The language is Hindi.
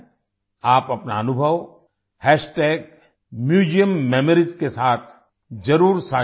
आप अपना अनुभव म्यूजियममोरीज के साथ ज़रूर साझा करें